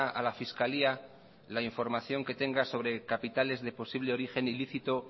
a la fiscalía la información que tenga sobre capitales de posible origen ilícito